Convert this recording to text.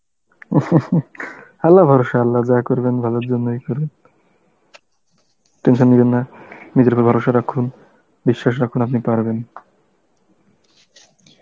আল্লাহ ভরসা, আল্লাহ যা করবেন, ভালোর জন্যই করবেন, tension নিবেন না, নিজের উপর ভরসা রাখুন, বিশ্বাস রাখুন আপনি পারবেন